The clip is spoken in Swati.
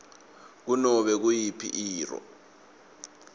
kunobe nguyiphi irro